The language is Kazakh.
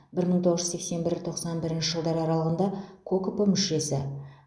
бір мың тоғыз жүз сексен бір тоқсан бірінші жылдар аралығында кокп мүшесі